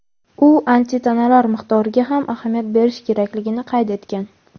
u antitanalar miqdoriga ham ahamiyat berish kerakligini qayd etgan.